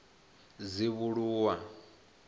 dzivhuluwa